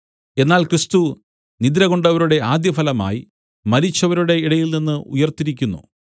എന്നാൽ ക്രിസ്തു നിദ്രകൊണ്ടവരുടെ ആദ്യഫലമായി മരിച്ചവരുടെ ഇടയിൽനിന്ന് ഉയിർത്തിരിക്കുന്നു